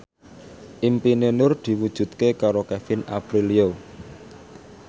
impine Nur diwujudke karo Kevin Aprilio